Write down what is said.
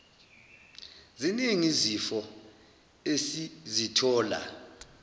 ziningi izifo esizithola